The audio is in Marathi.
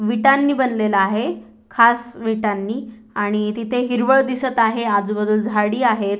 विटांनी बनलेल आहे खास विटांनी आणि तिथ आजूबाजूला हिरवळ दिसत आहे आजूबाजूला झाडी आहे.